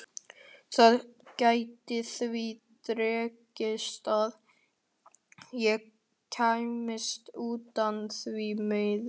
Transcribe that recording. Það gæti því dregist að ég kæmist utan, því miður.